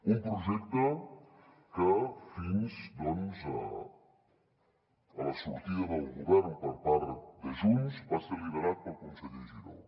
un projecte que fins a la sortida del govern per part de junts va ser liderat pel conseller giró